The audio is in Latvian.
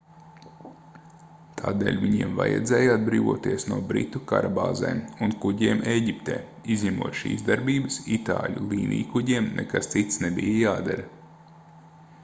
tādēļ viņiem vajadzēja atbrīvoties no britu karabāzēm un kuģiem ēģiptē izņemot šīs darbības itāļu līnijkuģiem nekas cits nebija jādara